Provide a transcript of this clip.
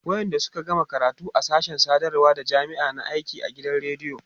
wayanda Suka gama karatu a sashen sadarwa da jamma'a na aiki a gidan radiyo